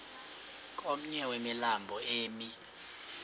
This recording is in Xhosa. komnye wemilambo emi